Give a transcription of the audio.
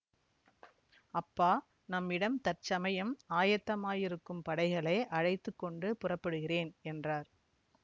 அப்பா நம்மிடம் தற்சமயம் ஆயத்தமாயிருக்கும் படைகளை அழைத்து கொண்டு புறப்படுகிறேன் என்றார்